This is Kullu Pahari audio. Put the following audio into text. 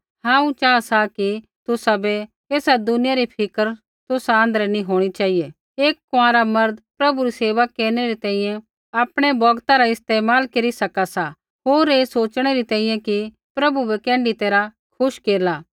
हांऊँ चाहा सा कि तुसाबै ऐई दुनिया री फिक्र तुसा आँध्रै नैंई होंणी चेहिऐ एक कुँआरा मर्द प्रभु री सेवा केरनै री तैंईंयैं आपणै बौगता रा इस्तेमाल केरी सका सा होर ऐ सोच़णै री तैंईंयैं कि प्रभु बै कैण्ढी तैरहा खुश केरला